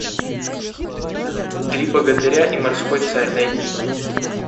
три богатыря и морской царь найди